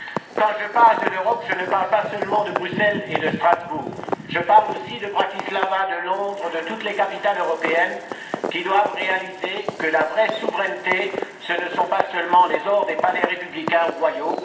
Quand je parle de l'Europe, je ne parle pas seulement de Bruxelles et de Strasbourg. Je parle aussi de Bratislava, de Londres, de toutes les capitales européennes qui doivent comprendre que la vraie souveraineté, ce ne sont pas seulement les ors des palais républicains ou royaux.